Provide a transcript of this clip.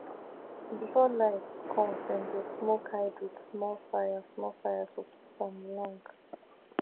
before light come dem dey smoke hide with small fire small fire to keep am long